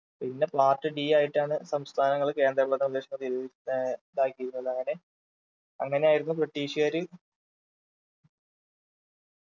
പിന്നെ part D ആയിട്ടാണ് സംസ്ഥാനങ്ങൾ കേന്ദ്രഭരണ പ്രദേശങ്ങൾ ഏർ ഇതാക്കിയിരുന്നത് അങ്ങനെ അങ്ങനെയായിരുന്നു british കാര്